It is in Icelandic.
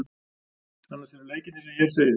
Annars eru leikirnir sem hér segir.